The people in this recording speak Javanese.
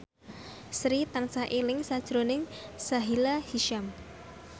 Sri tansah eling sakjroning Sahila Hisyam